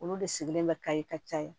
Olu de sigilen bɛ kaye ka caya